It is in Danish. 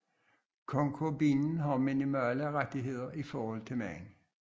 Konkubinen har minimale rettigheder i forhold til manden